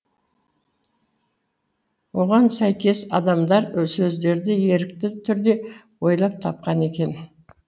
оған сәйкес адамдар сөздерді ерікті түрде ойлап тапқан екен